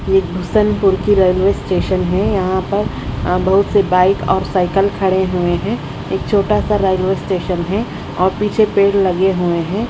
ये किशनपुर की railway station है यहां पर अह बहुत से बाइक और साइकिल खड़े हुए हैं एक छोटा सा रेलवे स्टेशन है और पीछे पेड़ लगे हुए हैं।